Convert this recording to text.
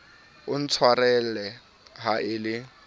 o ntshwarele ha e le